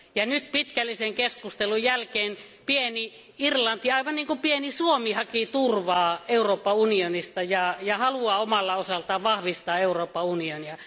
Nyt pitkällisen keskustelun jälkeen pieni Irlanti, aivan niin kuin pieni Suomi, haki turvaa Euroopan unionista ja haluaa omalta osaltaan vahvistaa Euroopan unionia.